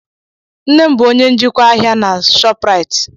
Nne m bụ onye njikwa ahịa na Shopraịt.